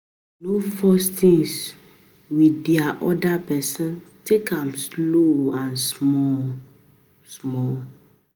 No force things with di oda person, take am slow and small small